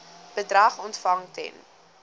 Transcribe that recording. bedrag ontvang ten